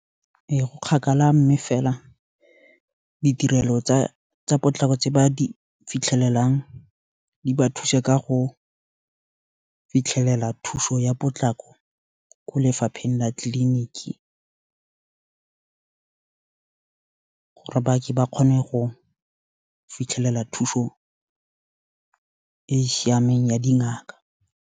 E, go kgakala mme fela, ditirelo tsa potlako tse ba di fitlhelelang di ba thuse, ka go fitlhelela, thuso ya potlako, ko lefapheng la tliliniki, gore ba ke ba kgone go, fitlhelela thuso e siameng ya dingaka.